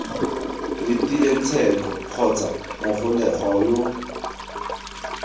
letileng tsheko kgotsa mogolegwa yo